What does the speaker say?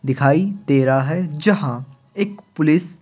दिखाई दे रहा है जहां एक पुलिस --